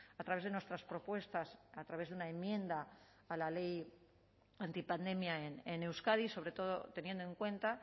a través de nuestras propuestas a través de una enmienda a la ley anti pandemia en euskadi sobre todo teniendo en cuenta